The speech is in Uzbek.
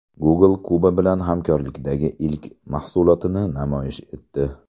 Google Kuba bilan hamkorlikdagi ilk mahsulotini namoyish etdi.